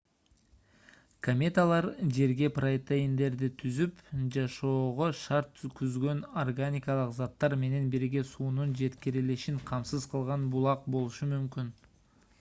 кометалар жерге протеиндерди түзүп жашоого шарт түзгөн органикалык заттар менен бирге суунун жеткирилишин камсыз кылган булак болушу мүмкүн